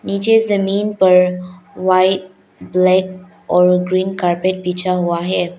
नीचे जमीन पर व्हाइट ब्लैक और ग्रीन कारपेट बिछा हुआ है।